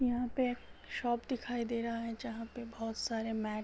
यहाँ पे शॉप दिखाई दे रहा है जहां पे बहुत सारे मेट --